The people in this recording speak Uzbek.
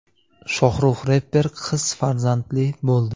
Shohrux reper qiz farzandli bo‘ldi.